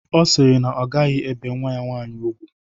Ọ siri na ọ gaghi ebe nwa ya nwaanyi ùgwú.